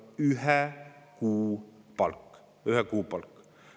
Ühe kuu palk!